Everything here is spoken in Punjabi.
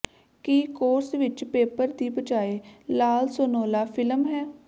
ਕੀ ਕੋਰਸ ਵਿਚ ਪੇਪਰ ਦੀ ਬਜਾਏ ਲਾਲਸੋਨੋਲਾ ਫਿਲਮ ਹੈ